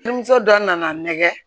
Denmuso dɔ nana nɛgɛ